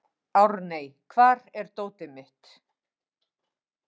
Árney, hvar er dótið mitt?